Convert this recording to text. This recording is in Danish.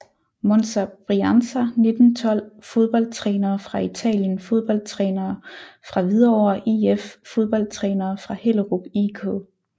Monza Brianza 1912 Fodboldtrænere fra Italien Fodboldtrænere fra Hvidovre IF Fodboldtrænere fra Hellerup IK